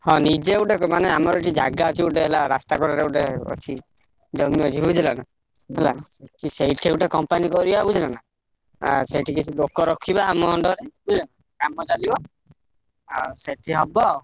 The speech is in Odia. ହଁ ନିଜେ ଗୋଟେ ମାନେ ଆମର ଏଠି ଜାଗା ଅଛି ଗୋଟେ ହେଲା ରାସ୍ତା କଡରେ ଗୋଟେ ଅଛି| ଜମି ଅଛି ବୁଝିଲନା? ହେଲା ସେଇଠି ଗୋଟେ company କରିଆ ବୁଝିଲନା? ଆ ସେଠି କିଛି ଲୋକ ରଖିବା ଆମ under ରେ ହେଲା କାମ ଚାଲିବ, ଆଉ ସେଠି ହବ।